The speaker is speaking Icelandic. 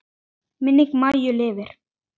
Minning Maju lifir.